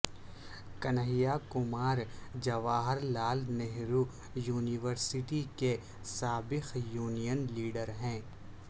Kanhaiya Kumar Jawahar Lal Nehru university کے سابق union leader ہیں